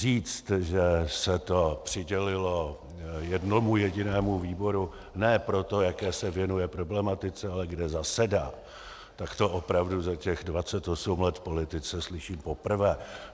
Říct, že se to přidělilo jednomu jedinému výboru ne proto, jaké se věnuje problematice, ale kde zasedá, tak to opravdu za těch 28 let v politice slyším poprvé.